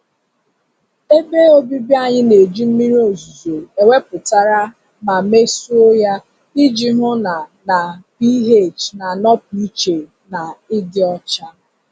Ebe obibi anyị na-eji mmiri ozuzo ewepụtara ma mesoo ya iji hụ na na pH na-anọpụ iche na ịdị ọcha.